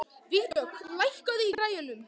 Vígdögg, lækkaðu í græjunum.